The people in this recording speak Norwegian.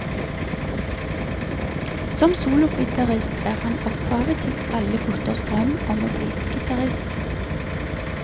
Som sologitarist er han opphavet til alle gutters drøm om å bli gitarist.